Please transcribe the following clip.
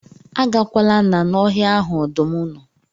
Agakwala na na ọhịa ahụ ọdụm nọ